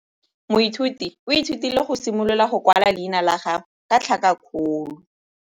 Moithuti o ithutile go simolola go kwala leina la gagwe ka tlhakakgolo.